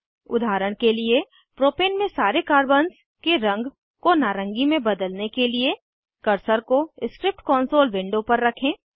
उदाहरण के लिए प्रोपेन में सारे कार्बन्स के रंग को नारंगी में बदलने के लिए कर्सर को स्क्रिप्ट कॉन्सोल विंडो पर रखें